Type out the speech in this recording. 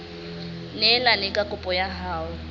neelane ka kopo ya hao